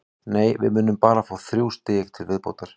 Nei, við munum bara fá þrjú stig til viðbótar.